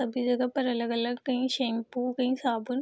सभी जगह पर अलग-अलग कहीं शैंपू कई साबुन।